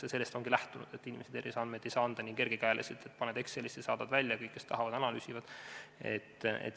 Aga sellest ongi lähtutud, et ei oleks nii, et paned inimese terviseandmed Excelisse ja saadad välja ning siis kõik, kes tahavad, analüüsivad neid.